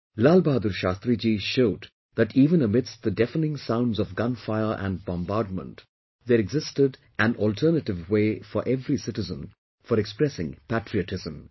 Lal Bahadur Shashtri Ji showed that even amidst the deafening sounds of gunfire and bombardment, there existed an alternative way for every citizen for expressing patriotism